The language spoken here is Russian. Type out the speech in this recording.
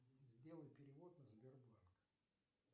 сделай перевод на сбербанк